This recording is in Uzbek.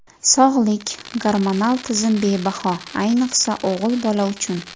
Sog‘lik, gormonal tizim bebaho, ayniqsa o‘g‘il bola uchun.